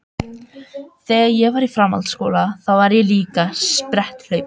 Þegar ég var í framhaldsskóla þá var ég líka spretthlaupari.